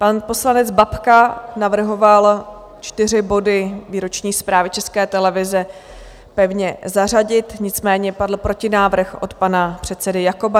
Pan poslanec Babka navrhoval čtyři body výroční zprávy České televize pevně zařadit, nicméně padl protinávrh od pana předsedy Jakoba.